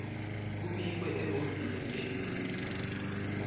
kubikwe ehhovisi lelincusa